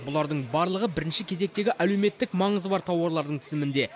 бұлардың барлығы бірінші кезектегі әлеуметтік маңызы бар тауарлардың тізімінде